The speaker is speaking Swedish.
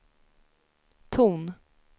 ton